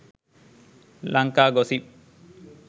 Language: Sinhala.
lanka gossip